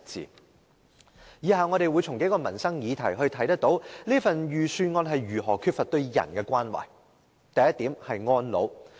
從以下數項民生議題可見預算案如何缺乏對人的關懷。